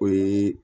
O ye